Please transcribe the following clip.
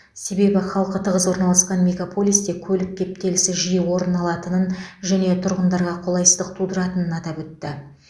себебі халқы тығыз орналасқан мегаполисте көлік кептелісі жиі орын алатынын және тұрғындарға қолайсыздық тудыратынын атап өтті